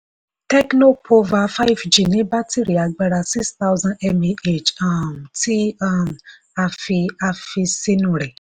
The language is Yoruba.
tecno pova five g ní bátìrì agbára six thousand mah um tí um a fi a fi ṣinú rẹ̀.